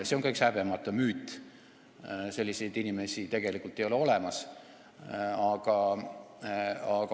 See on ka üks häbematu müüt, selliseid inimesi tegelikult ei ole olemas.